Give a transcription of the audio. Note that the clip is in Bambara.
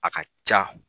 A ka ca